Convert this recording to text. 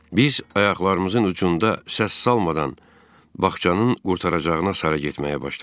Biz ayaqlarımızın ucunda səs salmadan bağçanın qurtaracağına sarı getməyə başladıq.